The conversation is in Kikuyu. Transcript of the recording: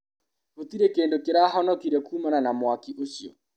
Gũtirĩ kĩndũ kĩrahonokirio kumana na mwaki ũcio.